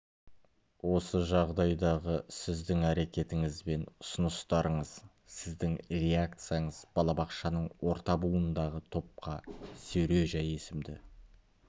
осы жағдайдағы сіздің әрекетіңіз бен ұсыныстарыңыз сіздің реакцияңыз балабақшаның орта буындағы топқа сережа есімді